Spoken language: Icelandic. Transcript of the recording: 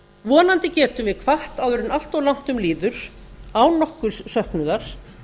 vonandi getum við hvatt áður en allt of langt um líður án nokkurs söknuðar